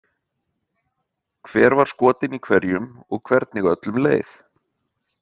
Hver var skotin í hverjum og hvernig öllum leið.